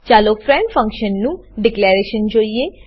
ચાલો ફ્રેન્ડ ફંક્શનનું ડીકલેરેશન જોઈએ